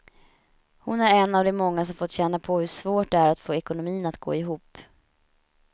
Hon är en av de många som fått känna på hur svårt det är att få ekonomin att gå ihop.